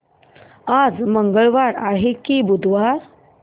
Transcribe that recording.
आज मंगळवार आहे की बुधवार